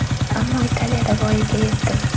Ammo Italiyada voyaga yetdim.